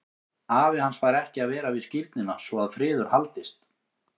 Afi hans fær ekki að vera við skírnina svo að friður haldist.